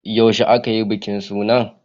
Yaushe aka yi bikin suna?